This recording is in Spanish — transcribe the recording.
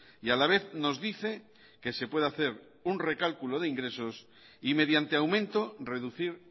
y a la vez nos dice que se puede hacer un recálculo de ingresos y mediante aumento reducir